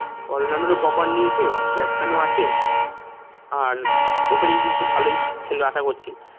allrounder ও proper নিয়েছে batsman ও আছে আর opening কিন্তু ভালোই খেলবে আশা করছি